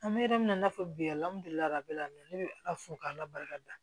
An bɛ yɔrɔ min na i n'a fɔ bi ne bɛ ala fo k'ala barika da